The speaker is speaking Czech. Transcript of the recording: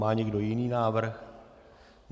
Má někdo jiný návrh?